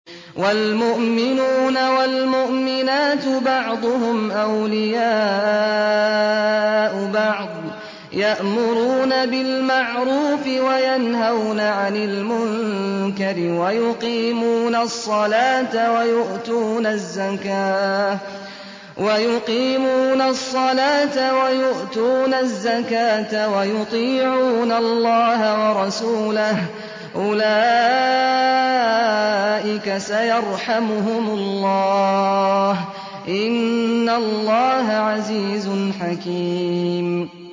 وَالْمُؤْمِنُونَ وَالْمُؤْمِنَاتُ بَعْضُهُمْ أَوْلِيَاءُ بَعْضٍ ۚ يَأْمُرُونَ بِالْمَعْرُوفِ وَيَنْهَوْنَ عَنِ الْمُنكَرِ وَيُقِيمُونَ الصَّلَاةَ وَيُؤْتُونَ الزَّكَاةَ وَيُطِيعُونَ اللَّهَ وَرَسُولَهُ ۚ أُولَٰئِكَ سَيَرْحَمُهُمُ اللَّهُ ۗ إِنَّ اللَّهَ عَزِيزٌ حَكِيمٌ